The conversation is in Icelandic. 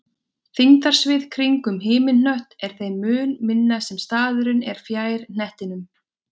þyngdarsvið kringum himinhnött er þeim mun minna sem staðurinn er fjær hnettinum